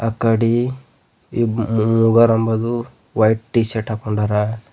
ಅಕಾಡೆ ಇಬ್ಬ ಮೂವರೆಂಬದು white T shirt ಹಾಕ್ಕೊಂಡರಾ.